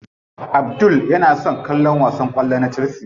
Abdul yana son kallon wasan kwallo na chelsea.